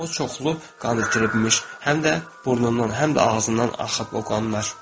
O çoxlu qan itirmiş, həm də burnundan, həm də ağzından axıb o qanlar.